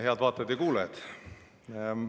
Head vaatajad ja kuulajad!